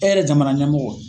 E yɛrɛ jamana ɲɛmɔgɔ.